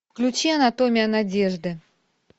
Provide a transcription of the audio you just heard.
включи анатомия надежды